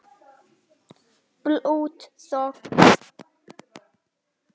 Blaut þögn.